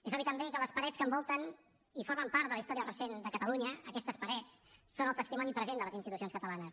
és obvi també que les parets que envolten i formen part de la història recent de catalunya aquestes parets són el testimoni present de les institucions catalanes